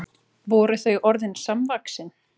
Voru þau orðin samvaxin?